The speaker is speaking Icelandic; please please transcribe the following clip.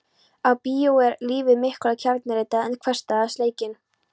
Á bíó er lífið miklu kjarnyrtara en hversdagsleikinn.